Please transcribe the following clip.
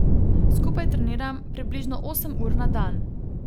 Skupaj treniram približno osem ur na dan.